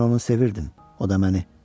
Mən onu sevirdim, o da məni.